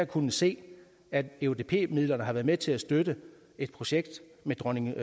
kunne se at eudp midlerne har været med til at støtte et projekt med dronninglund